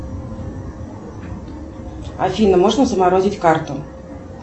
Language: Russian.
афина можно заморозить карту